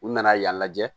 U nana yan lajɛ